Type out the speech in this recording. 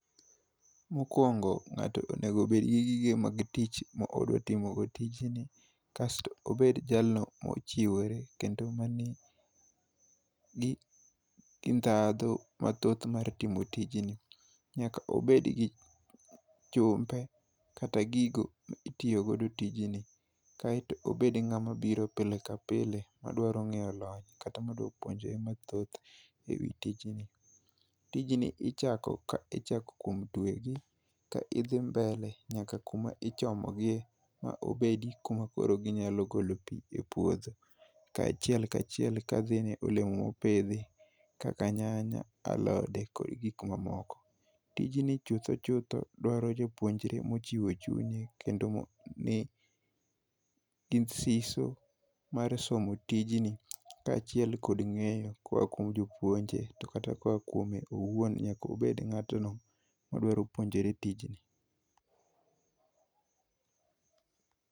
Mokwongo ngato nengo bedgi yie mag tich modwa timogo tijni kasto, obed jalno mochiwore kendo mani gi ndhadhu mathoth mar timo tijni. Nyaka obed gi chumbe kata gigo ma itiyo godo tijni, kaeto obed ng'ama biro pile ka pile, madwaro ng'eyo lony kata madwa puonjre mathoth ewi tijni. Tijni ichako ka ichako kuom tiegi ka idhi mbele nyaka kuma ichomo gi gie ma obedo kama koro ginyalo golo pii e puodho. Kaachiel kachiel ka dhi ne olemo mopidhi kaka nyanya, alode kod gik mamoko. Tijni chutho chutho dwaro jopuonjre mowchiwo chunye kendo manigi siso mar somo tijni, kaachiel kod ng'eyo koa kuom jopuonje to kata koa kuome owuon nyaka obed ng'atno madwarore puonjore tijni.